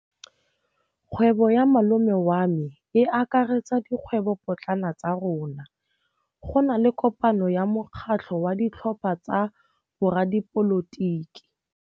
Kgwêbô ya malome wa me e akaretsa dikgwêbôpotlana tsa rona. Go na le kopanô ya mokgatlhô wa ditlhopha tsa boradipolotiki.